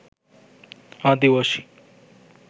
আদিবাসী